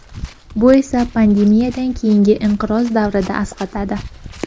Bu esa pandemiyadan keyingi inqiroz davrida asqatadi.